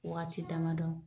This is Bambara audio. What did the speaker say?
Waati dama dɔ